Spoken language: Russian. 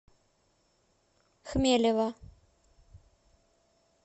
хмелева